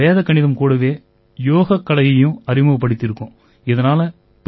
இப்ப நாங்க வேத கணிதம் கூடவே யோகக் கலையையும் அறிமுகப்படுத்தியிருக்கோம்